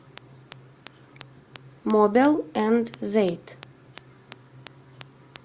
мобел энд зейт